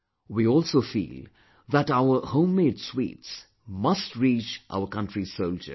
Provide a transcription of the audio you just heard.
We also feel that our homemade sweets must reach our country's soldiers